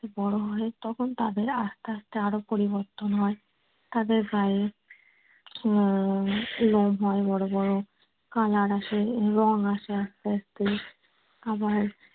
বড় হয় তখন তাদের আস্তে আস্তে আরো পরিবর্তন হয়। তাদের গায়ে আহ লোম হয় বড় বড় color আসে রং আসে আস্তে আস্তে। আবার